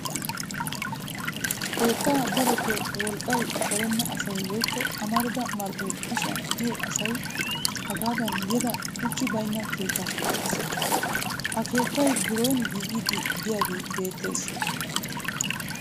Keettaa darotoo wolqqay darenna asay woykku amarida marccoy kushiyan diyo asay hagaadan yeda shuchchi baynna keettaa keexxes. Ha geettayi biron giigiiddi diyagee beettes.